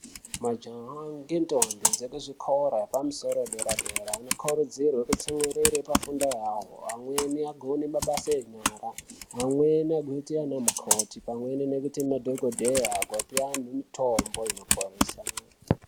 Majaya ngentombi dzekuzvikora yepamusoro yedera dera anokurudzirwe kutsumiriri pafundo yavo, amweni agone mabasa enyara ,amweni agoite anamukoti pamweni nekuite madhogodheya ape anhu mitombo inoporesa.